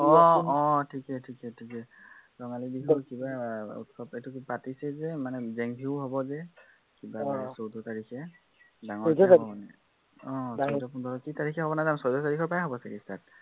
আহ আহ ঠিকেই ঠিকেই ঠিকেই। উম ৰঙালী বিহুৰ কিবা এইটো পাতিছে যে, মানে জেং বিহু হব যে, চৌধ্য় তাৰিখে আহ চৌধ্য় পোন্ধৰ কি তাৰিখে হব নাজানো চৌধ্য় তাৰিখৰ পৰাই হব তেতিায়া হলে।